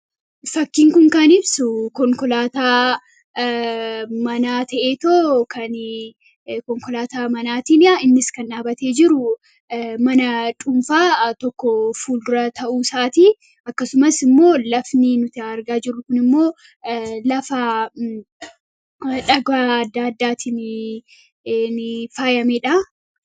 Fakkiin Kun kan ibsu, konkolaataa manaa ta'eetoo innis kan dhaabatee jiru mana dhuunfaa tokko fuuldura ta'uu isaatii. Akkasumas lafni nuti argaa jirru immoo lafa dhagaa addaa addaatiin faayamedha.